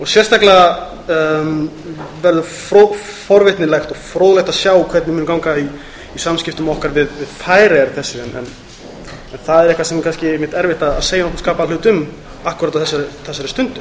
sérstaklega verður forvitnilegt og fróðlegt að sjá hvernig muni ganga í samskiptum okkar við færeyjar í þessu en það er nokkuð sem er kannski erfitt að segja nokkurn skapaðan hlut um akkúrat á þessari stundu